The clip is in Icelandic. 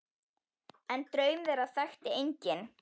En draum þeirra þekkti enginn.